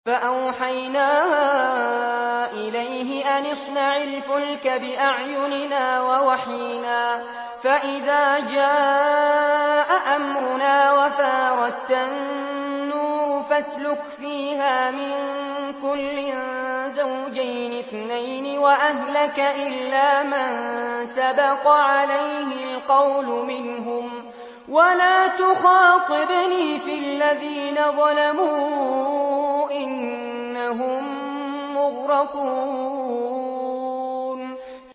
فَأَوْحَيْنَا إِلَيْهِ أَنِ اصْنَعِ الْفُلْكَ بِأَعْيُنِنَا وَوَحْيِنَا فَإِذَا جَاءَ أَمْرُنَا وَفَارَ التَّنُّورُ ۙ فَاسْلُكْ فِيهَا مِن كُلٍّ زَوْجَيْنِ اثْنَيْنِ وَأَهْلَكَ إِلَّا مَن سَبَقَ عَلَيْهِ الْقَوْلُ مِنْهُمْ ۖ وَلَا تُخَاطِبْنِي فِي الَّذِينَ ظَلَمُوا ۖ إِنَّهُم مُّغْرَقُونَ